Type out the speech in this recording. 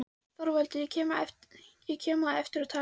ÞORVALDUR: Ég kem á eftir og tala við hann.